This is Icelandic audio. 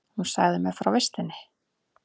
Hún sagði mér frá vistinni.